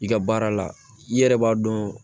I ka baara la i yɛrɛ b'a dɔn